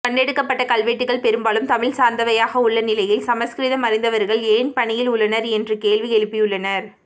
கண்டெடுக்கப்பட்ட கல்வெட்டுகள் பெரும்பாலும் தமிழ் சார்ந்தவையாக உள்ள நிலையில் சமஸ்கிருதம் அறிந்தவர்கள் ஏன் பணியில் உள்ளனர் என்று கேள்வி எழுப்பியுள்ளனர்